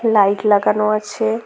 Light লাগানো আছে।